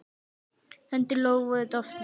Hendur Lóu voru dofnar.